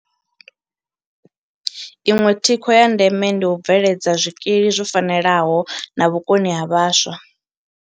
Iṅwe thikho ya ndeme ndi u bveledza zwikili zwo fanelaho na vhukoni ha vhaswa.